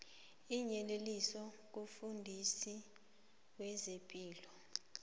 iinyeleliso kumfundisi wezepilo